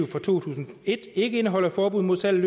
fra to tusind og et ikke indeholder et forbud mod salg af